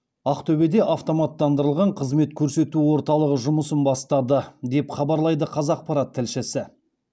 ақтөбеде автоматтандырылған қызмет көрсету орталығы жұмысын бастады деп хабарлайды қазақпарат тілшісі